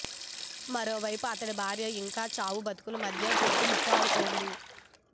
మరోవైపు అతడి భార్య ఇంకా చావు బతుకుల మధ్య కొట్టుమిట్టాడుతోంది